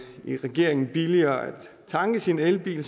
i regeringen sågar billigere at tanke sin elbil